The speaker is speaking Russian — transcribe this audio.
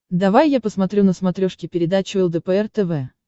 давай я посмотрю на смотрешке передачу лдпр тв